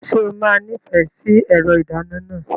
Ṣé o máa nífẹ̀ẹ́ sí ẹ̀rọ ìdáná náà?